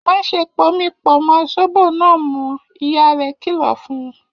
Má ṣe pomi pọ̀ mọ́ sóbò náà mọ́! Ìyá rẹ̀ kìlọ̀ fún un.